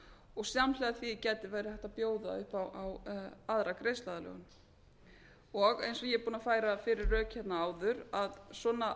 og samhliða því gæti verið hægt að bjóða upp á aðra greiðsluaðlögun eins og ég er búin að færa fyrir rök hérna áður að svona